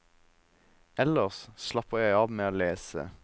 Ellers slapper jeg av med å lese.